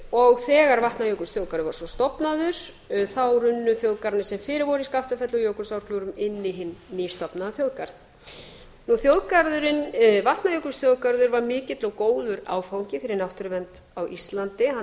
og þegar vatnajökulsþjóðgarður var svo stofnaður þá runnu þjóðgarðarnir sem fyrir voru í skaftafelli og jökulsárgljúfrum inn í hinn nýstofnaða þjóðgarð vatnajökulsþjóðgarður var mikil og góður áfangi fyrir náttúruvernd á íslandi hann